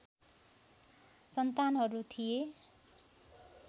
सन्तानहरू थिए